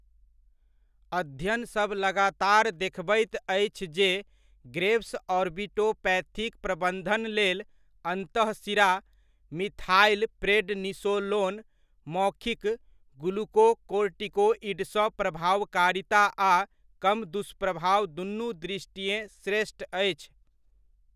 अध्ययन सभ लगातार देखबैत अछि जे ग्रेव्स ऑर्बिटोपैथीक प्रबन्धन लेल अन्तःशिरा मिथाइलप्रेडनिसोलोन मौखिक ग्लूकोकोर्टिकोइडसँ प्रभावकारिता आ कम दुष्प्रभाव दुनू दृष्टिएँ श्रेष्ठ अछि।